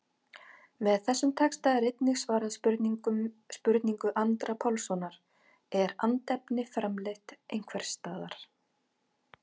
Með þessum texta er einnig svarað spurningu Andra Pálssonar, Er andefni framleitt einhvers staðar?